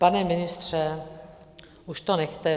Pane ministře, už to nechte.